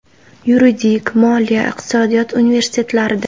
Yuridik, Moliya, Iqtisodiyot universitetlarida.